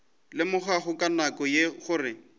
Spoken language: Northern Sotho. lemogago ka nako ye gore